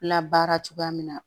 Labaara cogoya min na